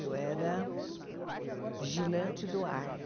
Eu era vigilante do ar.